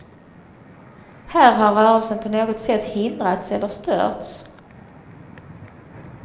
Här har rörelsen på något sätt hindrats eller störts.